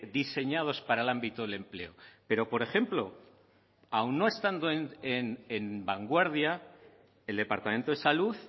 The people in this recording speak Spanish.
diseñados para el ámbito del empleo pero por ejemplo aun no estando en vanguardia el departamento de salud